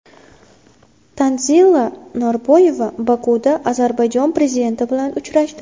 Tanzila Norboyeva Bokuda Ozarbayjon prezidenti bilan uchrashdi.